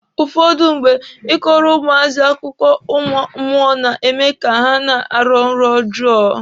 Ụfọdụ mgbe, Ị kọrọ ụmụazị akụkọ ụmụ mmụọ na-eme ka ha na-arọ nrọ ọjọọ.